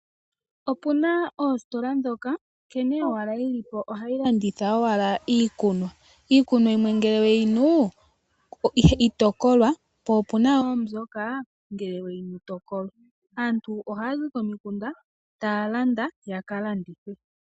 Opuna oositola ndhoka, nkene owala dhilipo ohadhi landitha iikunwa. Iikunwa yimwe ngele weyinu itokolwa, po opuna wo mbyoka ngele weyinu tokolwa. Aantu ohayazi komikunda taya landa yaka landithe.